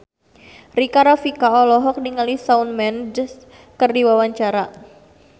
Rika Rafika olohok ningali Shawn Mendes keur diwawancara